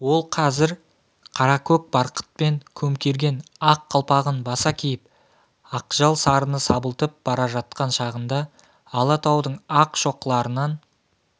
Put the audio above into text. ол қазір қаракөк барқытпен көмкерген ақ қалпағын баса киіп ақжал сарыны сабылтып бара жатқан шағында алатаудың ақ шоқыларынан